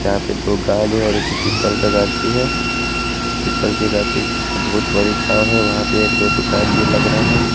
यहां पे दो गांज है और एक पीपल का गाछी है। पीपल के गाछी से बहुत बड़ी छांव है। वहां पे एक दो दुकान भी लग रहा है।